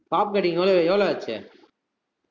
pop cutting எவ்வள~ எவ்வளவு ஆச்சு